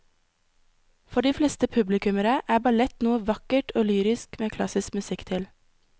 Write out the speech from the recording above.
For de fleste publikummere er ballett noe vakkert og lyrisk med klassisk musikk til.